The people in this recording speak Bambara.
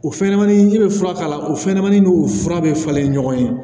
O fɛnɲɛnɛmanin i bɛ fura k'a la o fɛnɲɛnɛmanin n'o fura bɛ falen ɲɔgɔn ye